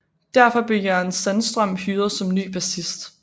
Derfor blev Jörgen Sandström hyret som ny bassist